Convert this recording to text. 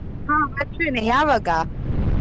ಹಾ ಬರ್ತೇನೆ ಯಾವಾಗ?